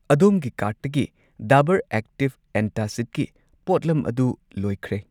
ꯑꯗꯣꯝꯒꯤ ꯀꯥꯔꯠꯇꯒꯤ ꯗꯥꯕꯔ ꯑꯦꯛꯇꯤꯚ ꯑꯦꯟꯇꯥꯁꯤꯗꯀꯤ ꯄꯣꯠꯂꯝ ꯑꯗꯨ ꯂꯣꯏꯈ꯭ꯔꯦ꯫